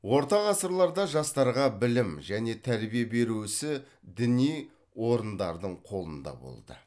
орта ғасырларда жастарға білім және тәрбие беру ісі діни орындардың қолында болды